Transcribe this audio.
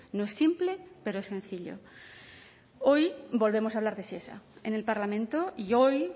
no es simple pero es sencillo hoy volvemos a hablar de shesa en el parlamento y hoy